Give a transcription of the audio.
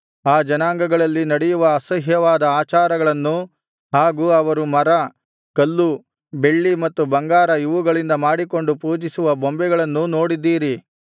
ಆ ಜನಾಂಗಗಳಲ್ಲಿ ನಡೆಯುವ ಅಸಹ್ಯವಾದ ಆಚಾರಗಳನ್ನೂ ಹಾಗು ಅವರು ಮರ ಕಲ್ಲು ಬೆಳ್ಳಿ ಮತ್ತು ಬಂಗಾರ ಇವುಗಳಿಂದ ಮಾಡಿಕೊಂಡು ಪೂಜಿಸುವ ಬೊಂಬೆಗಳನ್ನೂ ನೋಡಿದ್ದೀರಿ